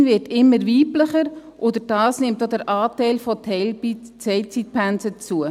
– Die Medizin wird immer weiblicher, und dadurch nimmt auch der Anteil der Teilzeitpensen zu.